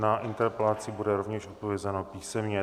Na interpelaci bude rovněž odpovězeno písemně.